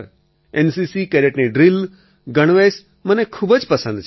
NCC કેડેટની drill ગણવેશ મને ખૂબ જ પસંદ છે